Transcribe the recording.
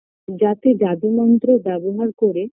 যাতে জাদু মন্ত্র ব্যবহার করে